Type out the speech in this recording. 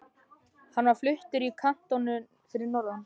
Hann var fluttur í kantónu fyrir norðan.